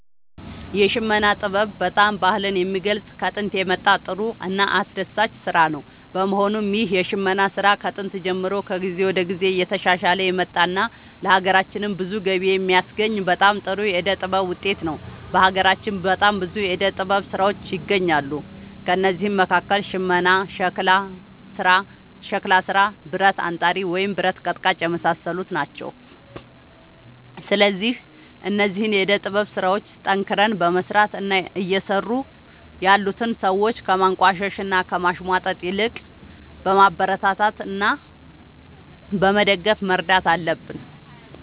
የሽመና ጥበብ በጣም ባህልን የሚገልፅ ከጦንት የመጣ ጥሩ እና አስደሳች ስራ ነው በመሆኑም ይህ የሽመና ስራ ከጥንት ጀምሮ ከጊዜ ወደ ጊዜ እየተሻሻለ የመጣ እና ለሀገራችንም ብዙ ገቢ የሚያስገኝ በጣም ጥሩ የዕደ ጥበብ ውጤት ነው። በሀገራችን በጣም ብዙ የዕደ ጥበብ ስራዎች ይገኛሉ ከእነዚህም መካከል ሽመና ሸክላ ስራ ብረት አንጣሪ ወይም ብረት ቀጥቃጭ የመሳሰሉት ናቸው። ስለዚህ እነዚህን የዕደ ጥበብ ስራዎች ጠንክረን በመስራት እና እየሰሩ ያሉትን ሰዎች ከማንቋሸሽ እና ከማሽሟጠጥ ይልቅ በማበረታታት እና በመደገፍ መርዳት አለብን